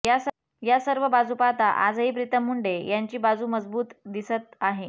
या सर्व बाजू पाहता आजही प्रीतम मुंडे यांची बाजू मजबूत दिसत आहे